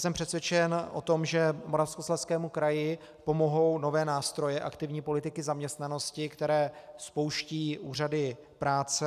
Jsem přesvědčen o tom, že Moravskoslezskému kraji pomohou nové nástroje aktivní politiky zaměstnanosti, které spouštějí úřady práce.